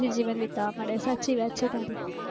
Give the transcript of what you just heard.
હા શાંતિ થી વીતવા મળે